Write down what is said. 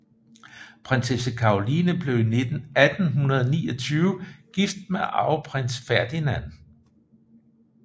Prinsesse Caroline blev i 1829 gift med arveprins Ferdinand